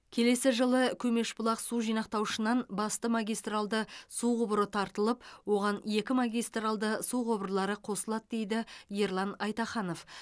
келесі жылы көмешбұлақ су жинақтаушынан басты магистралды су құбыры тартылып оған екі магистралды су құбырлары қосылады дейді ерлан айтаханов